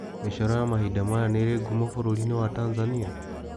Mĩcoro ya mahinda maya nĩ ĩrĩ ngumo bũrũri-inĩ wa Tanzania?